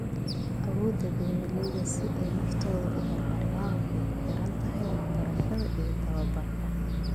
Awoodda beeralayda si ay naftooda u horumariyaan waxay ku xiran tahay waxbarashada iyo tababarka.